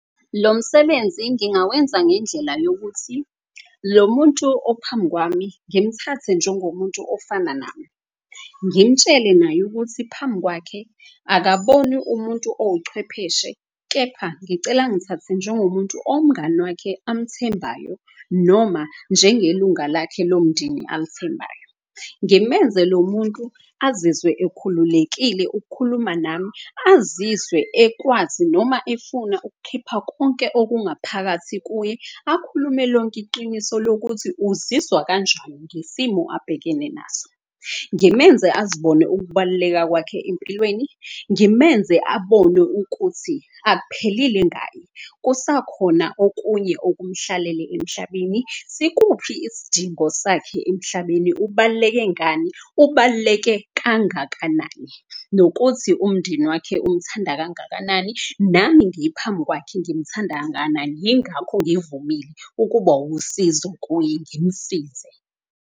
Lo msebenzi ngingawenza ngendlela yokuthi lo muntu ophambi kwami. Ngimthathe njengo muntu ofana nami, ngimtshele naye ukuthi phambi kwakhe akaboni umuntu owuchwepheshe. Kepha ngicela angithathe njengo muntu owumngani wakhe amthembayo noma njengelunga lakhe lomndeni alithembayo. Ngimenze lo muntu azizwe ekhululekile ukukhuluma nami azizwe ekwazi noma efuna ukukhipha konke okungaphakathi kuye. Akhulume lonke iqiniso lokuthi uzizwa kanjani ngesimo abhekene naso. Ngimenze azibone ukubaluleka kwakhe empilweni, ngimenze abone ukuthi akuphelile ngaye. Kusakhona okunye okumhlalele emhlabeni, sikuphi isidingo sakhe emhlabeni, ubaluleke ngani, ubaluleke kangakanani. Nokuthi umndeni wakhe umthanda kangakanani, nami ngiphambi kwakhe ngimthanda kangakanani. Yingakho ngivumile ukuba usizo kuye ngimsize.